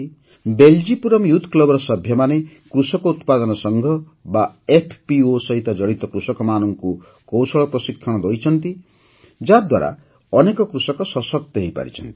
Beljipuram youth କ୍ଲବ୍ର ସଭ୍ୟମାନେ କୃଷକ ଉତ୍ପାଦନ ସଂଘ ବା ଏଫପିଓ ସହିତ ଜଡ଼ିତ କୃଷକମାନଙ୍କୁ କୌଶଳ ପ୍ରଶିକ୍ଷଣ ଦେଇଛନ୍ତି ଯାହାଦ୍ୱାରା ଅନେକ କୃଷକ ସଶକ୍ତ ହୋଇପାରିଛନ୍ତି